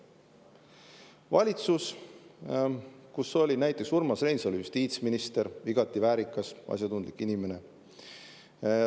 Valitsus, kus näiteks Urmas Reinsalu oli justiitsminister, igati väärikas, asjatundlik inimene.